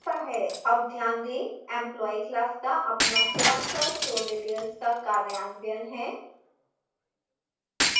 अब ध्यान दें employee class का अपना स्वयं का showdetails का कार्यान्वयन है